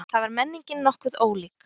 Þar var menningin nokkuð ólík.